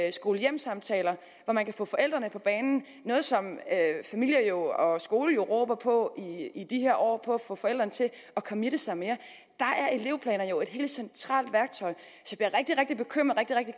i skole hjem samtaler hvor man kan få forældrene på banen noget som familie og skole råber på i de her år på at få forældrene til at committe sig mere elevplaner er jo et helt centralt værktøj